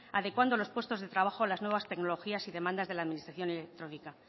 adecuando los puestos de trabajo a las nuevas tecnologías y demandas de la administración electrónica